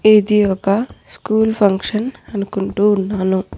ఇది ఒక school function అనుకుంటూ ఉన్నాను.